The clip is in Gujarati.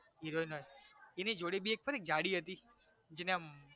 heroine નય એની જોડે ભી એક ખબર એક જાડી હતી એના આમ